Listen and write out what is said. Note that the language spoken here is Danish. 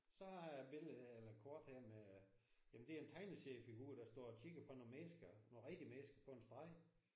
Så har jeg et billede her eller et kort her med jamen det er en tegneseriefigur der står og kigger på nogle mennesker nogle rigtige mennesker på en strand